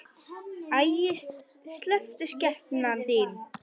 Æi, slepptu skepnan þín!